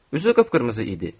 Üzü qıpqırmızı idi.